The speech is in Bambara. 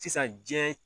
Sisan diɲɛ